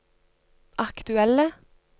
aktuelle